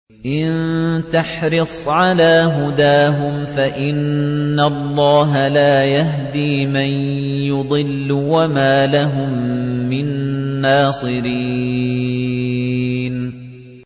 إِن تَحْرِصْ عَلَىٰ هُدَاهُمْ فَإِنَّ اللَّهَ لَا يَهْدِي مَن يُضِلُّ ۖ وَمَا لَهُم مِّن نَّاصِرِينَ